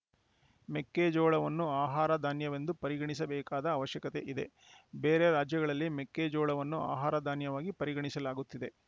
ಮೆಕ್ಕೆಜೋಳವನ್ನು ಆಹಾರ ಧಾನ್ಯವೆಂದು ಪರಿಗಣಿಸಬೇಕಾದ ಅವಶ್ಯಕತೆ ಇದೆ ಬೇರೆ ರಾಜ್ಯಗಳಲ್ಲಿ ಮೆಕ್ಕೆಜೋಳವನ್ನು ಆಹಾರ ಧಾನ್ಯವಾಗಿ ಪರಿಗಣಿಸಲಾಗುತ್ತಿದೆ